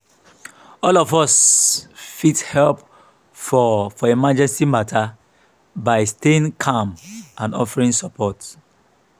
all of us fit help for for emergency mata by staying calm and offering support.